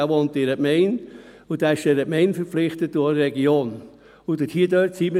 Er wohnt in einer Gemeinde und ist dieser Gemeinde und auch der Region verpflichtet.